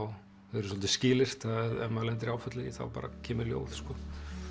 þau eru svolítið skilyrt ef maður lendir í áfalli þá bara kemur ljóð sko þú